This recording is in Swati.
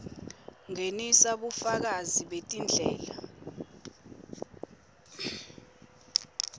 ngenisa bufakazi betindlela